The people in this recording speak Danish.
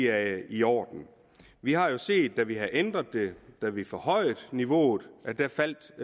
er i orden vi har jo set at da vi ændrede det da vi forhøjede niveauet faldt